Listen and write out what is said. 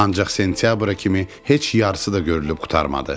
ancaq sentyabra kimi heç yarısı da görülüb qurtarmadı.